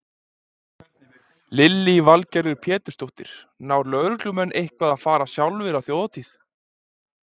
Lillý Valgerður Pétursdóttir: Ná lögreglumenn eitthvað að fara sjálfir á Þjóðhátíð?